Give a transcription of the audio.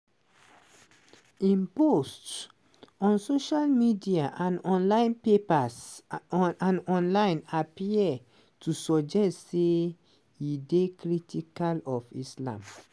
im posts on social media and online appear to suggest say e dey critical of islam.